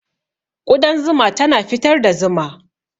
Ƙudan zuma tana fitar da zuma.